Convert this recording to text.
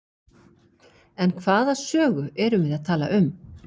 En hvaða sögu erum við að tala um?